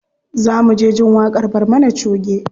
Za mu je jin waƙar barmana choge.